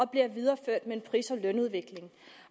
bliver videreført med en pris og lønudvikling